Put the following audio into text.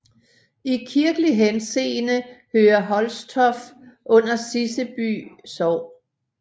I kirkelig henseende hører Holstoft under Siseby Sogn